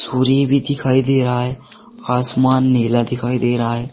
और ये भी दिखाई दे रहा है आसमान नीला दिखाई दे रहा है।